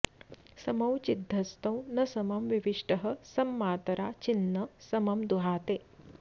समौ चिद्धस्तौ न समं विविष्टः सम्मातरा चिन्न समं दुहाते